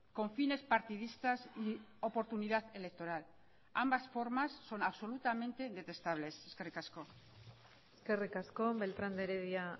con fines partidistas y oportunidad electoral ambas formas son absolutamente detestables eskerrik asko eskerrik asko beltrán de heredia